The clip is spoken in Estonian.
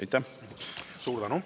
Aitäh!